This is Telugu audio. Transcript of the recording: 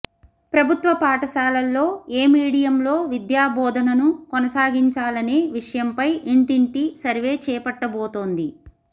ప్రభుత్వ పాఠశాలల్లో ఏ మీడియంలో విద్యాబోధనను కొనసాగించాలనే విషయంపై ఇంటింటి సర్వే చేపట్టబోతోంది